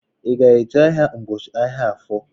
I ga-eje ahịa n'ubochi ahịa Afọ?